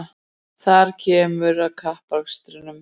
Þar kemur að kappakstrinum